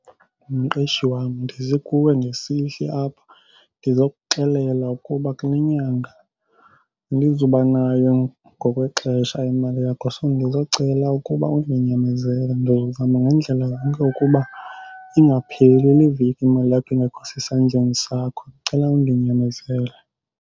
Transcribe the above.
Mqeshi wam, ndize kuwe ngesihle apha ndizokuxelela ukuba kule nyanga andizubanayo ngokwexesha imali yakho. So, ndizocela ukuba undinyamezele. Ndizozama ngandlela zonke ukuba ingapheli le veki imali yakho ingekho sesandleni sakho. Ndicela undinyamezele.